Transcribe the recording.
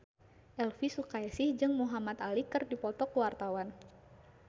Elvi Sukaesih jeung Muhamad Ali keur dipoto ku wartawan